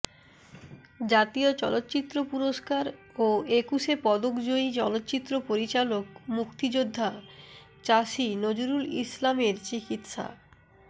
জাতীয় চলচ্চিত্র পুরস্কার ও একুশে পদকজয়ী চলচ্চিত্র পরিচালক মুক্তিযোদ্ধা চাষী নজরুল ইসলামের চিকিৎসা